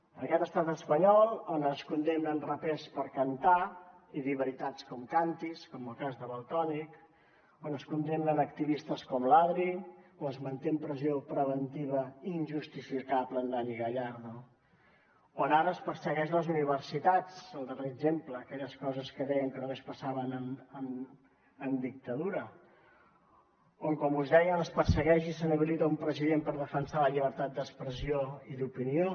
en aquest estat espanyol on es condemnen rapers per cantar i dir veritats com càntirs com el cas de valtònyc on es condemnen activistes com l’adri o es manté en presó preventiva injustificable en dani gallardo on ara es persegueix les universitats el darrer exemple aquelles coses que deien que només passaven en dictadura on com us deia es persegueix i s’inhabilita un president per defensar la llibertat d’expressió i d’opinió